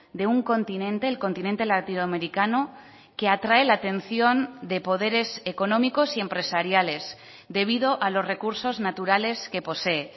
de un continente el continente latinoamericano que atrae la atención de poderes económicos y empresariales debido a los recursos naturales que posee